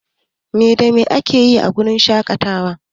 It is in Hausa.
Me da me akeyi a wurin shaƙatawa?